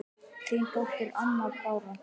Þín dóttir, Anna Bára.